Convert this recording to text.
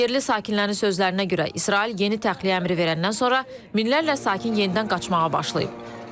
Yerli sakinlərin sözlərinə görə, İsrail yeni təxliyə əmri verəndən sonra minlərlə sakin yenidən qaçmağa başlayıb.